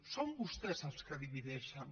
són vostès els que divideixen